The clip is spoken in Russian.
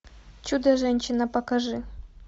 чудо женщина покажи